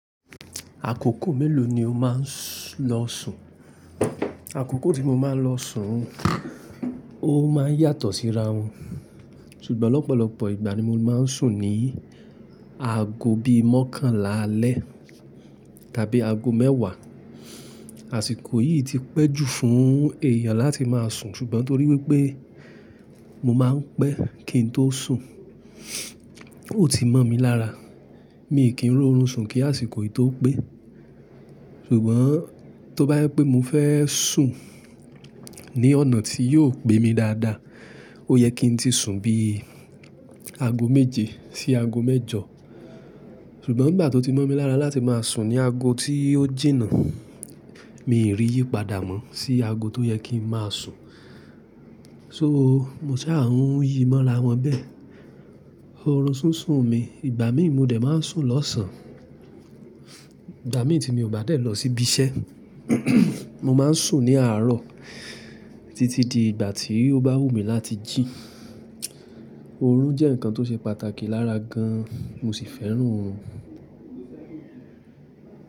Àkókò mélòó ni o máa ń lọ sùn? Àkókò tí mo máa ń lọ sùn, ó máa ń yàtọ̀ síra wọn. Ṣùgbọ́n ọ̀pọ̀lọpọ̀ ìgbà ni mo máa ń sùn ní aago bíi mọ́kànlá alẹ́ tàbí aago mẹ́wàá. Àsìkò yìí ti pẹ́ jù fún èèyàn láti máa sùn ṣùgbọ́n torí wípé mo máa ń pẹ́ kí n tó sùn, ó ti mọ̀ mi lára. Mi kí ń ro run sùn kí àsìkò yìí tó pé. Ṣùgbọ́n tó bá jẹ́ pé mo fẹ́ sùn ní ọ̀nà tí yóò pé mi dáadáa, ó yẹ kí n tí sùn bíi aago méje sí aago mẹ́jọ. Ṣùgbọ́n ìgbà tó ti mọ̀ mi lára láti máa sùn ní aago tí ó jìnnà, mi i rí yípadà mọ́ sí aago tó yẹ kí n máa sùn. So mo ṣá à ń yí mọ́ra wọn bẹ́ẹ̀. Orun súnsun mi. Ìgbà mí mo dẹ̀ máa ń sùn lọ́sàn. Ìgbà mí tí mi ò bá dẹ̀ lọ sí ibi iṣẹ́, mo máa ń sùn ní àárọ̀ títí di ìgbà tí ó bá wùmí láti jì. Orun jẹ́ nǹkan tó ṣe pàtàkì lára gan, mo ṣì fẹ́ràn orun.